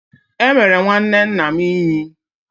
Emere nwanne nna m Ínyì.